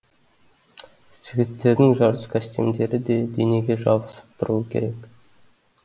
жігіттердің жарыс костюмдері де денеге жабысып тұруы керек